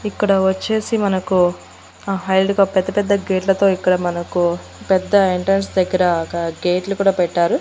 ఇక్కడ వచ్చేసి మనకు హైట్ గా పెద్ద పెద్ద గేట్లతో ఇక్కడ మనకు పెద్ద ఎంట్రన్స్ దగ్గర ఒక గేట్లు కూడా పెట్టారు.